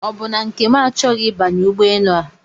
Ọbụ na Nkem achọghị ịbanye ụgbọ enu a?